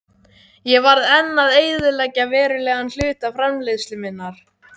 Ég varð enn að eyðileggja verulegan hluta framleiðslu minnar.